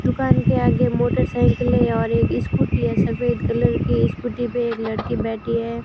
दुकान के आगे मोटरसाइकिलें और एक स्कूटी है सफेद कलर की स्कूटी पे एक लड़की बैठी है।